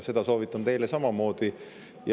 Seda soovitan ka teile.